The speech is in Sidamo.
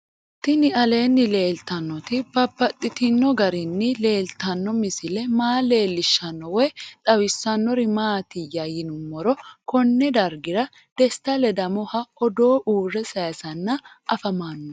Tinni aleenni leelittannotti babaxxittinno garinni leelittanno misile maa leelishshanno woy xawisannori maattiya yinummoro konne dariga desita ledamohu odoo uure sayiisanni afammanno